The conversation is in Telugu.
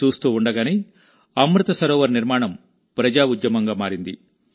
చూస్తూ ఉండగానే అమృత్ సరోవర్ నిర్మాణం ప్రజా ఉద్యమంగా మారింది